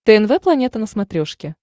тнв планета на смотрешке